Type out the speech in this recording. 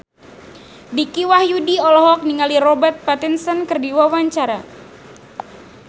Dicky Wahyudi olohok ningali Robert Pattinson keur diwawancara